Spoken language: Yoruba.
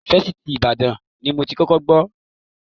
Fásitì Ìbàdàn ni mo ti kọ́kọ́ gbọ́ orin Barrister Àyìndé.